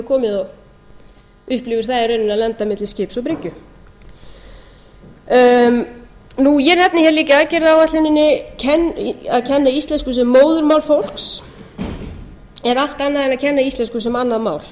komið og upplifir það í rauninni að lenda milli skips og bryggju ég nefni það líka í aðgerðaáætluninni að að kenna íslensku sem móðurmál fólks er allt annað en að kenna íslensku sem annað mál